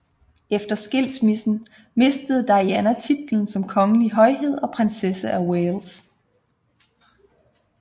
Efter skilsmissen mistede Diana titlen som kongelig højhed og prinsesse af Wales